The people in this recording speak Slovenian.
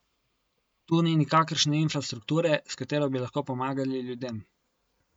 Tu ni nikakršne infrastrukture, s katero bi lahko pomagali ljudem.